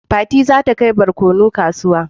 Fati za ta kai barkono kasuwa